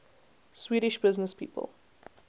swedish businesspeople